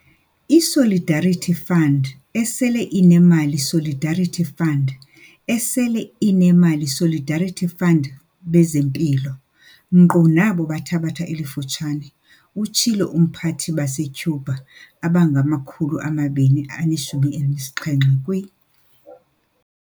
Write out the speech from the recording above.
"ISolidarity Fund, esele inemali Solidarity Fund, esele inemali Solidarity Fundbezempilo, nkqu nabo bathathaba elifutshane," utshilo uMphathibase-Cuba abangama-217 kwi